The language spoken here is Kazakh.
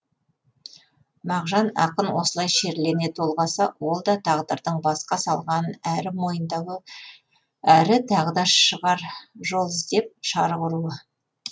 мағжан ақын осылай шерлене толғаса ол да тағдырдың басқа салғанын әрі мойындауы әрі тағы да шығар жол іздеп шарқ ұруы